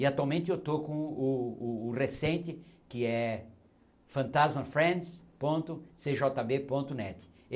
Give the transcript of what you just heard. E, atualmente, eu estou com o o o recente, que é fantasmafriends ponto cjb ponto net.